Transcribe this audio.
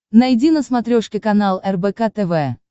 найди на смотрешке канал рбк тв